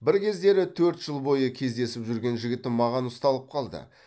бір кездері төрт жыл бойы кездесіп жүрген жігітім маған ұсталып қалды